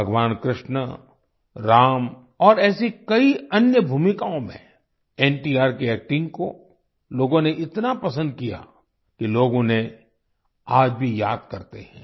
भगवान कृष्ण राम और ऐसी कई अन्य भूमिकाओं में एनटीआर की एक्टिंग को लोगों ने इतना पसंद किया कि लोग उन्हें आज भी याद करते हैं